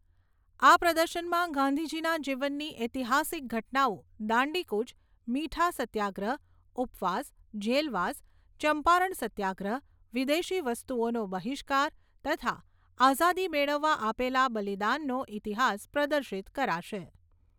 આ પ્રદર્શનમાં ગાંધીજીના જીવનની ઐતિહાસિક ઘટનાઓ દાંડીકૂચ, મીઠા સત્યગ્રહ ઉપવાસ, જેલવાસ, ચંપારણ સત્યાગ્રહ, વિદેશી વસ્તુઓનો બહિષ્કાર, તથા આઝાદી મેળવવા આપેલા બલિદાનનો ઇતિહાસ પ્રદર્શિત કરાશે.